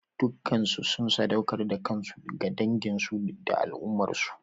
Dukansu sun saɗaukar da kansu ga danginsu da al'ummarsu.